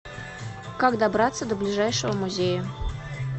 как добраться до ближайшего музея